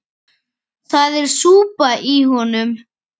Það er súpa í honum.